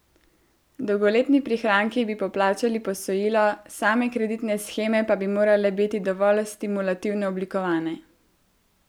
Dolgoletni prihranki bi poplačali posojilo, same kreditne sheme pa bi morale biti dovolj stimulativno oblikovane.